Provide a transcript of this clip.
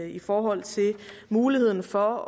i forhold til muligheden for